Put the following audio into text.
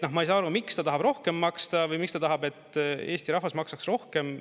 Ma ei saa aru, miks ta tahab rohkem maksta või miks ta tahab, et Eesti rahvas maksaks rohkem.